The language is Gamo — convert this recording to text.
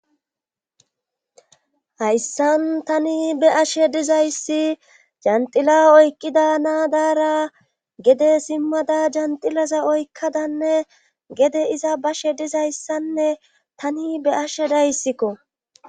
hayssan tani be ashe dizayssi jenxila oykqida naadaara gede simmada jenxilaza oykkadanne gede iza bashe dizayssanne tani be ashe dayssikko